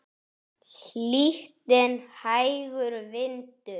Hlýtt en hægur vindur.